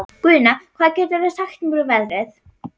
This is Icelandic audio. Guðna, hvað geturðu sagt mér um veðrið?